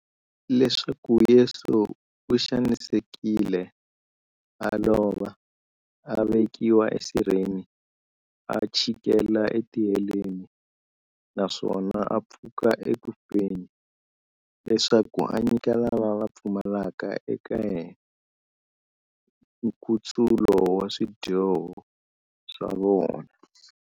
Leswaku Yesu u xanisekile, a lova, a vekiwa esirheni, a chikela etiheleni, naswona a pfuka eku feni, leswaku a nyika lava va pfumelaka eka yena, nkutsulo wa swidyoho swa vona.